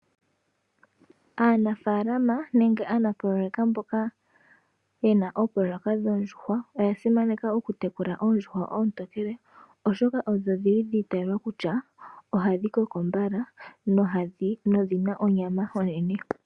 Aanafaalama nenge aanapololeka mboka yena oopoloweka dhoondjuwa oya simaneka oku tekula oondjuhwa oontokele, oshoka odho dhili dhiitayelwa kutya ohadhi koko mbala nodhina onyama onene.